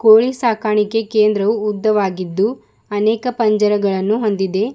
ಕೋಳಿ ಸಾಕಾಣಿಕೆ ಕೇಂದ್ರವು ಉದ್ದವಾಗಿದ್ದು ಅನೇಕ ಪಂಜರಗಳನ್ನು ಹೊಂದಿದೆ.